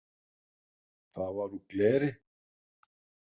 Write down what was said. Það var úr gleri.